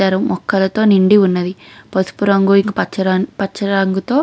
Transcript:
తీర్చిదిద్దారు. మొక్కలతో నిండి ఉన్నవి. పసుపు రంగు ఇంకా పచ్చ రంగుతో --